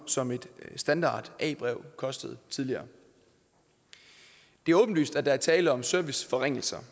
som et standard a brev kostede tidligere det er åbenlyst at der er tale om serviceforringelser